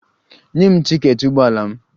Nye m tiketi ụgbọ ala m!